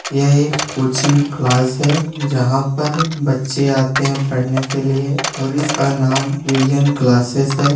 यह coaching class हैं जहाॅं पर बच्चे आते हैं पढ़ने के लिए और इसका नाम विजन क्लासेस हैं।